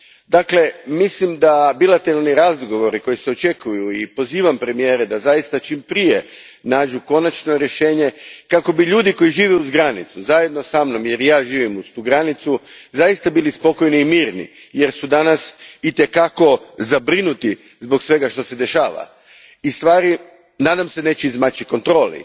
Dakle, mislim da bilateralni razgovori koji se očekuju i pozivam premijere da zaista čim prije nađu konačno rješenje kako bi ljudi koji žive uz granicu, zajedno sa mnom jer i ja živim uz tu granicu, zaista bili spokojni i mirni jer su danas itekako zabrinuti zbog svega što se dešava i stvari, nadam se, neće izmaći kontroli.